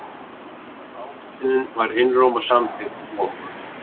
Ályktunin var einróma samþykkt og